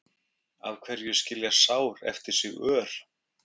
af hverju skilja sár eftir sig ör